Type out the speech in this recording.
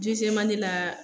la